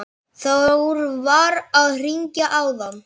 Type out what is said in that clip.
Þór var að hringja áðan.